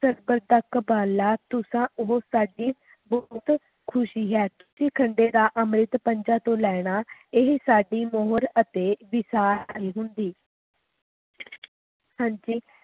ਤੁਸਾਂ ਉਹ ਸਾਡੀ ਬਹੁਤ ਖੁਸ਼ੀ ਹੈ ਕਿ ਖੰਡੇ ਦਸ ਅੰਮ੍ਰਿਤ ਪੰਜਾ ਤੋਂ ਲੈਣਾ ਇਹ ਸਦੀ ਮੋਹਰ ਅਤੇ ਸੀ ਹਾਂਜੀ